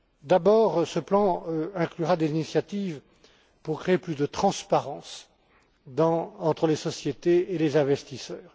D'abord, ce plan inclura des initiatives pour créer plus de transparence entre les sociétés et les investisseurs.